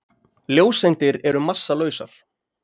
Ljóseindir eru massalausar.